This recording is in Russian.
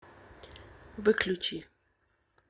выключи